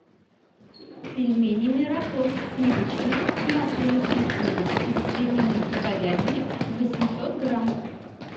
пельмени мираторг сливочные с маслом и сливками из свинины и говядины восемьсот грамм